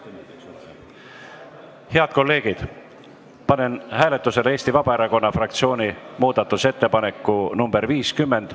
Head kolleegid, panen hääletusele Eesti Vabaerakonna fraktsiooni muudatusettepaneku nr 50.